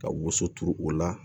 Ka woso turu o la